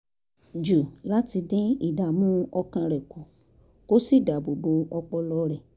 jù láti dín ìdààmú ọkàn rẹ̀ kù kó sì dáàbò bo ọpọlọ rẹ̀